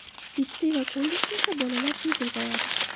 Litsey va kollejda esa bolalar tez ulg‘ayadi.